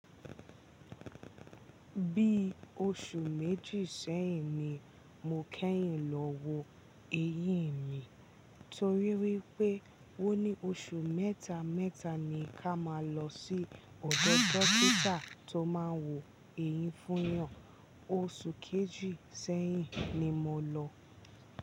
Bí oṣù méjì sẹ́yìn ni mo kẹ́yìn lọ wo eyín mi torí wípé wón ní oṣù mẹ́ta mẹ́ta ni ká máa lọ sí ọ̀dọ̀ dọ́kítà tó máa ń wo eyín fún eeyan. Oṣù kejì sẹ́yìn ni mo lọ.